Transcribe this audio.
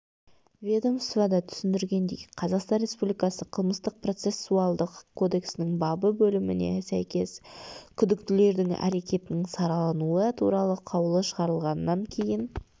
ведомствода түсіндіргендей қазақстан республикасы қылмыстық-процессуалдық кодексінің бабы бөліміне сәйкес күдіктілердің әрекетінің саралануы туралы қаулы шығарылғаннан кейін